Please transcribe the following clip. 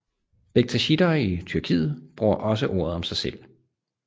Bektashitter i Tyrkiet bruger også ordet om sig selv